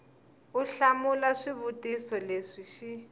u hlamula swivutiso leswi xi